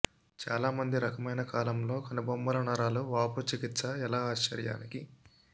చాలా మంది రకమైన కాలంలో కనుబొమ్మల నరాల వాపు చికిత్స ఎలా ఆశ్చర్యానికి